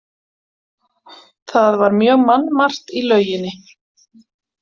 Það var mjög mannmargt í lauginni.